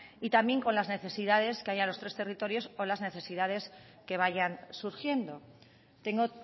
y también con las necesidades que haya en los tres territorios o las necesidades que vayan surgiendo tengo